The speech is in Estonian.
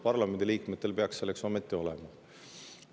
Parlamendi liikmetel peaks ometi olema.